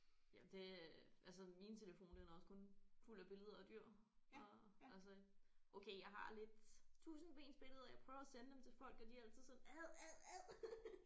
Ja det øh altså min telefon den er også kun fuld af billeder af dyr øh altså okay jeg har lidt tusindbensbilleder jeg prøver at sende dem til folk og de er altid sådan ad ad ad